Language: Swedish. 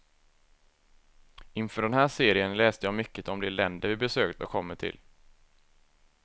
Inför den här serien läste jag mycket om de länder vi besökt och kommer till.